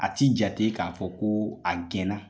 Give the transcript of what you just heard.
A tɛ jate k'a fɔ ko a gɛnna